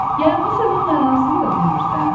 Yəni bu sözünün mənasını da bilmirsən?